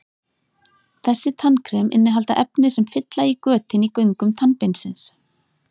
Þessi tannkrem innihalda efni sem fylla í götin í göngum tannbeinsins.